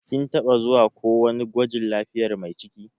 Kin taba zuwa ko wani gwajin lafiyar Mai ciki?